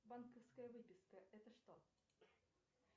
банковская выписка это что